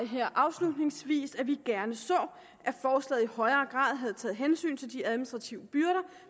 her afslutningsvis at vi gerne så at forslaget i højere grad havde taget hensyn til de administrative byrder